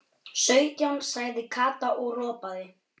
Sautján sagði Kata og ropaði.